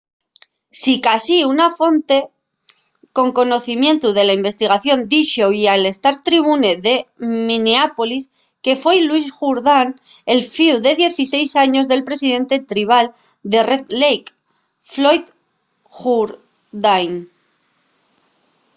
sicasí una fonte con conocimientu de la investigación díxo-y al star-tribune de minneapolis que foi louis jourdan el fíu de 16 años del presidente tribal de red lake floyd jourdain